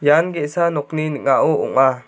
ian ge·sa nokni ning·ao ong·a.